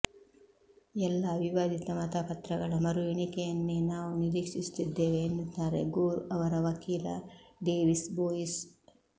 ಎಲ್ಲಾ ವಿವಾದಿತ ಮತಪತ್ರಗಳ ಮರು ಎಣಿಕೆಯನ್ನೇ ನಾವು ನಿರೀಕ್ಷಿಸುತ್ತಿದ್ದೇವೆ ಎನ್ನುತ್ತಾರೆ ಗೋರ್ ಅವರ ವಕೀಲ ಡೇವಿಸ್ ಬೋಯಿಸ್